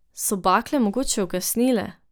So bakle mogoče ugasnile?